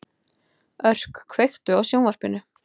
Örk, kveiktu á sjónvarpinu.